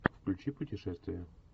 включи путешествия